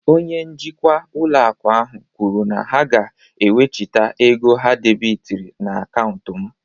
Onye njikwa ụlọ akụ ahụ kwuru na ha ga-ewechita ego ha debịtịrị na akaụntụ m